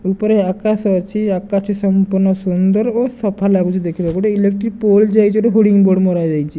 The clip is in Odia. ଉପରେ ଆକାଶ ଅଛି ଆକାଶ ସମ୍ପୂର୍ଣ୍ଣ ସୁନ୍ଦର ଓ ସଫା ଲାଗୁଚି ଦେଖିବାକୁ ଗୋଟେ ଇଲେକ୍ଟ୍ରି ପୋଲ ଯାଇଚି ଗୋଟେ ହୋଡିଂ ବୋଡ଼ ମରାଯାଇଛି।